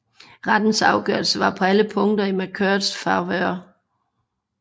Rettens afgørelsen var på alle punkter i McCartneys favør